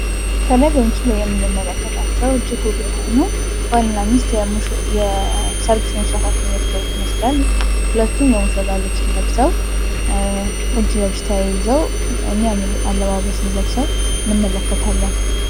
ከላይ በምስሉ ላይ የምንመለከተውቸው እጅግ ውብ የሆኑ ባልና ሚስት የሰርግ ስነስርዓታቸውን እያካሄዱ ይመስላል ሁለቱም የሙሽራ ልብስ ለብስው እጅ ለእጅ ተያይዘው ሚያምር አለባበስን ለብሰው እንመለከታለን።